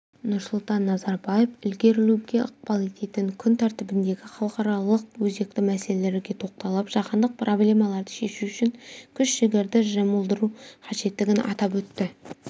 нұрсұлтан назарбаев ілгерілеуге ықпал ететін күн тәртібіндегі халықаралық өзекті мәселелерге тоқталып жаһандық проблемаларды шешу үшін күш-жігерді жұмылдыру қажеттігін атап өтті